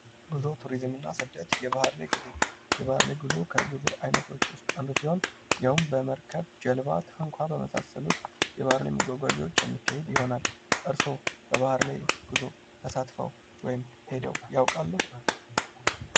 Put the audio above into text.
ጉዞ ቱሪዝም ባህልና ስደት የባር ላይ ጉዞ ከጉዞ አይነቶች ውስጥ አንዱ ሲሆን ይህም በመርከብ፥ በጀልባ፥ በታንኳ በመሳሰሉት የባህር ላይ መጓጓዣዎች የሚካሄድ ይሆናል እርሶ በባህር ላይ ጉዞ ተሳትፎ ወይም ሂደው ያቃሉ?